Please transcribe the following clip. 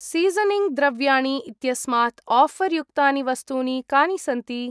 Seasoning द्रव्याणि इत्यस्मात् offer युक्तानि वस्तूनि कानि सन्ति?